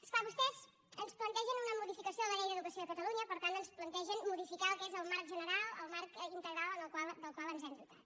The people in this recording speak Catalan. és clar vostès ens plantegen una modificació de la llei d’educació de catalunya per tant ens plantegen modificar el que és el marc general el marc integral del qual ens hem dotat